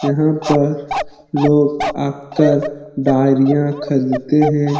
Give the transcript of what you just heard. यहाँ पर लोग आकर डारीयां खरीदते हैं ।